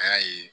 A y'a ye